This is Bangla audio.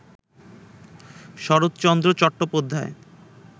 শরৎচন্দ্র চট্টোপাধ্যায়